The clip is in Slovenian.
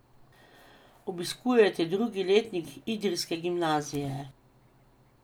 Obiskujete drugi letnik idrijske gimnazije.